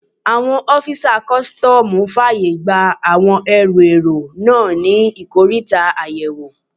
Àwọn ọ́fisà kọ́sítọ́mù fàyè gba àwọn ẹrù èrò náà ní ikoríta àyẹ̀wò